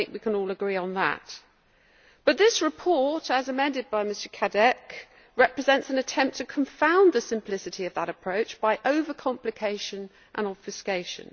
I think we can all agree on that. But this report, as amended by Mr Cadec, represents an attempt to confound the simplicity of that approach by over complication and obfuscation.